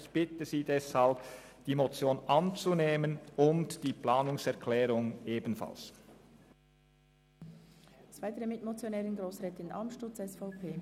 Ich bitte Sie deshalb, die Motion anzunehmen und ebenfalls der Planungserklärung zuzustimmen.